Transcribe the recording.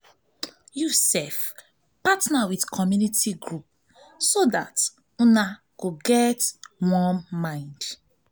partner with community group so dat una go get one mind